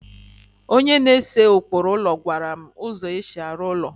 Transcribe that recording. onye na-ese ụkpụrụ ụlọ gwara m ụzọ e si arụ ụlọ